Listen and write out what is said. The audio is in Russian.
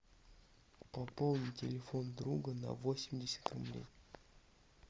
пополни телефон друга на восемьдесят рублей